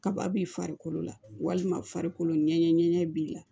Kaba b'i farikolo la walima farikolo ɲɛgɛn ŋɛɲɛ b'i la